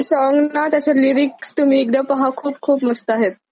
Song ना त्याचे lyrics तुम्ही एकदा पहा खूप खूप मस्त आहेत.